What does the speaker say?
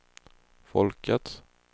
folkets